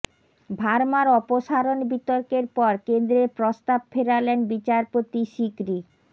ভার্মার অপসারণ বিতর্কের পর কেন্দ্রের প্রস্তাব ফেরালেন বিচারপতি সিকরি